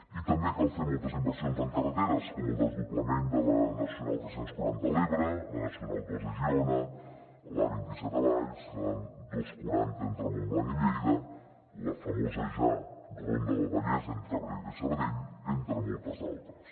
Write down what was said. i també cal fer moltes inversions en carreteres com el desdoblament de la nacional tres cents i quaranta a l’ebre la nacional ii a girona l’a vint set a valls la dos cents i quaranta entre montblanc i lleida la famosa ja ronda del vallès entre abrera i sabadell entre moltes altres